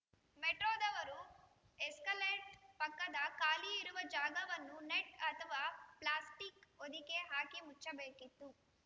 ಮೆಟ್ರೋದವರು escalator ಪಕ್ಕದ ಖಾಲಿ ಇರುವ ಜಾಗವನ್ನು ನೆಟ್‌ ಅಥವಾ ಪ್ಲಾಸಿಕ್‌ ಹೊದಿಕೆ ಹಾಕಿ ಮುಚ್ಚಬೇಕಿತ್ತು